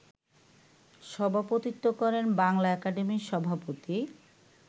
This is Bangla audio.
সভাপতিত্ব করেন বাংলা একাডেমির সভাপতি